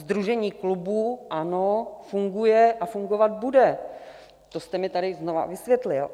Sdružení klubů, ano, funguje a fungovat bude, to jste mi tady znovu vysvětlil.